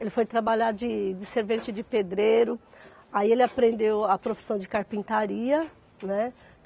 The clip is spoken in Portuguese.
Ele foi trabalhar de de servente de pedreiro, aí ele aprendeu a profissão de carpintaria, né?